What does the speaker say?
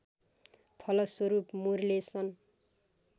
फलस्वरूप मुरले सन्